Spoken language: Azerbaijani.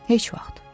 Heç vaxt.